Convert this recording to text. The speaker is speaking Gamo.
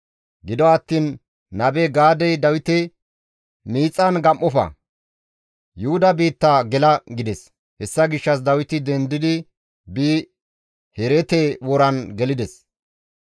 Gido attiin Nabe Gaadey Dawite, «Miixan gam7ofa; Yuhuda biitta gela» gides. Hessa gishshas Dawiti dendi biidi Herete woran gelides.